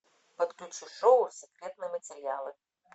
подключи шоу секретные материалы